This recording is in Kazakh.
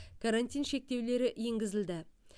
карантин шектеулері енгізілді